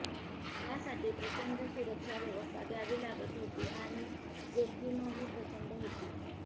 त्यांसाठी प्रचंड सुरक्षाव्यवस्था द्यावी लागत होती आणि जोखीमही प्रचंड होती